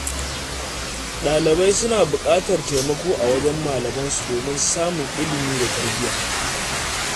Ɗalibai suna buƙatar taimako a wajen malamansu domin samun ilimi da tarbiyya.